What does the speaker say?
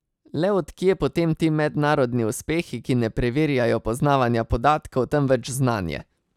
Le od kje potem ti mednarodni uspehi, ki ne preverjajo poznavanja podatkov, temveč znanje?